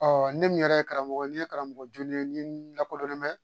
ne min yɛrɛ ye karamɔgɔ ne ye karamɔgɔ jolen n'i lakodɔnnen mɛn